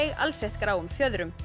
alsett gráum fjöðrum